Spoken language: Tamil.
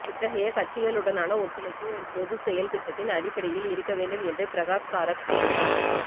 இத்தகைய கட்சிகளு டனான ஒத்துழைப்பு ஒரு பொது செயல் திட்டத்தின் அடிப்படையில் இருக்க வேண்டும் என்றும் பிரகாஷ் காரத் கூறினார்